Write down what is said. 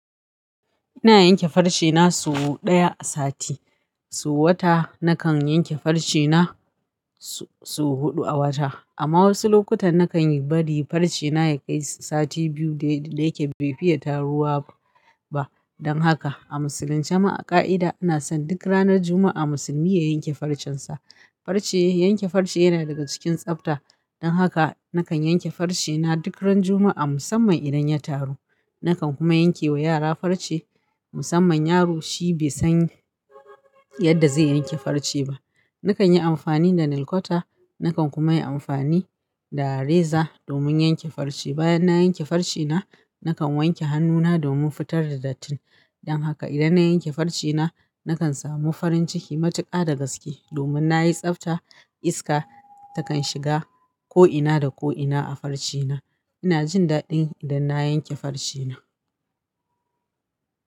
Ina yanke farcena sau ɗaya a sati, sau wata nakan yanke farcena sau huɗu a wata. Amma wasu lokutan nakan yi bari farcena ya kai sati biyu da yake bai fiye taruwa ba. Dan haka a musulunci, ma a ƙa'ida ana son duk ranar Juma'a musulmi ya yanke farcensa. Farce, yanke farce yana daga cikin tsafta. Dan haka nakan yanke farcena duk ran Juma'a musamman idan ya taru. Nakan kuma yankewa yara farce musamman yaro shi bai san yadda zai yanke farce ba. Nakan yi amfani da nilkwata, nakan kuma yi amfani da reza domin yanke farce. Bayan na yanke farcena, nakan wanke hannuna domin fitar da datti. Dan haka idan na yanke farcena, nakan samu farin ciki matuƙa da gaske domin na yi tsafta. Iska takan shiga ko'ina da ko'ina a farcena. Ina jin daɗi idan na yanke farcena.